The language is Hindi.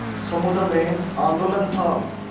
समुद्र में आंदोलन था